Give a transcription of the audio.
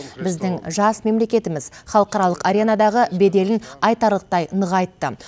біздің жас мемлекетіміз халықаралық аренадағы беделін айтарлықтай нығайтты